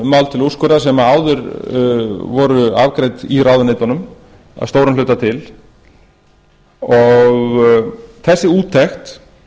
mál til úrskurðar sem áður voru afgreidd í ráðuneytunum að stórum hluta til þessi úttekt